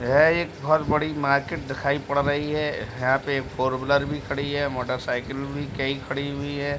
यह एक बहौत बड़ी मार्किट दिखाई पड़ रही है है तो ये फोर व्हीलर भी खड़ी है मोटर साइकल भी क्या ही खड़ी है।